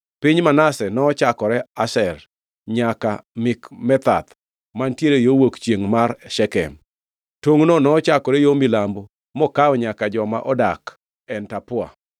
Piny Manase nochakore Asher nyaka Mikmethath mantiere yo wuok chiengʼ mar Shekem. Tongʼno nochakore yo milambo mokawo nyaka joma odak En Tapua.